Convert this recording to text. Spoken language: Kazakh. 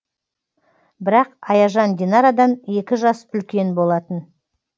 бірақ аяжан динарадан екі жас үлкен болатын